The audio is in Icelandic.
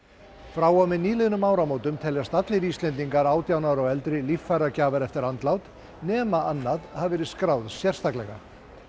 frá og með nýliðnum áramótum teljast allir Íslendingar átján ára og eldri líffæragjafar eftir andlát nema annað hafi verið skráð sérstaklega